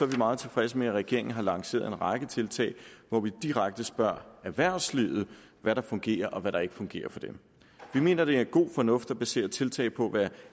vi meget tilfredse med at regeringen har lanceret en række tiltag hvor vi direkte spørger erhvervslivet hvad der fungerer og hvad der ikke fungerer for dem vi mener at det er god fornuft at basere tiltag på hvad